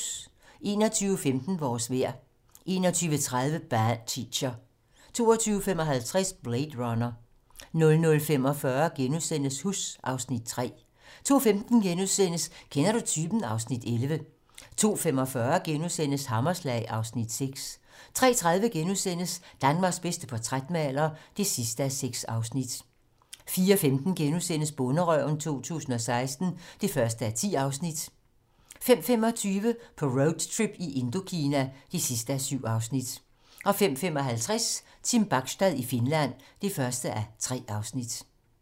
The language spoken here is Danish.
21:15: Vores vejr 21:30: Bad Teacher 22:55: Blade Runner 00:45: Huss (Afs. 3)* 02:15: Kender du typen? (Afs. 11)* 02:45: Hammerslag (Afs. 6)* 03:30: Danmarks bedste portrætmaler (6:6)* 04:15: Bonderøven 2016 (1:10)* 05:25: På roadtrip i Indokina (7:7) 05:55: Team Bachstad i Finland (1:3)